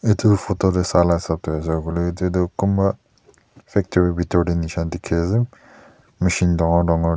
etu photo teh sa laga hesap teh hoisekoile ete toh kunba factory pitor teh neshina tekhi ase machine dangore dangore.